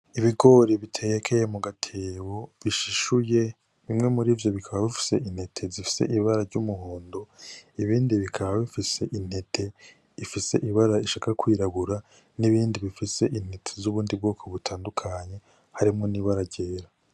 Ibigori bitekeye mu gatebo bishishuye bimwe muri vyo bikaba bifise intete zifise ibara ry'umuhondo ibindi bikaba bifise intete ifise ibara ishaka kwirabura n'ibindi bifise intete z'ubundi bwoko butandukanye harimwo n'ibara ryera.